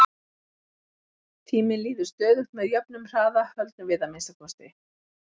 Tíminn líður stöðugt með jöfnum hraða, höldum við að minnsta kosti.